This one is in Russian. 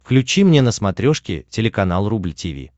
включи мне на смотрешке телеканал рубль ти ви